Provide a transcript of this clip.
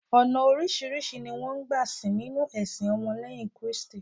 ọnà orisirisi ni won gba sìn ninu ẹsìn ọmọ leyin kristi